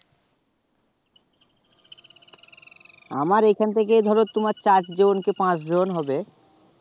আমার এখান থেকে ধরো তোমার চার জন কি পাচ জন হবে